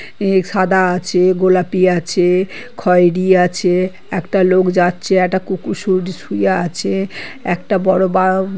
এক সাদা আছে গোলাপি আছে খয়রি আছে। একটা লোক যাচ্ছে একটা কুকুর শুর শুয়ে আছে একটা বড় বা--